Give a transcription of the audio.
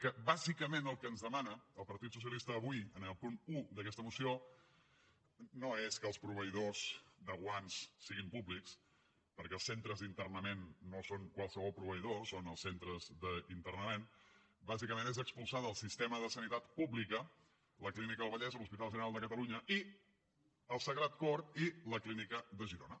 que bàsicament el que ens demana el partit socialista avui en el punt un d’aquesta moció no és que els proveïdors de guants siguin públics perquè els centres d’internament no són qualsevol proveïdor són els centres d’internament bàsicament és expulsar del sistema de sanitat pública la clínica del vallès l’hospital general de catalunya i el sagrat cor i la clínica de girona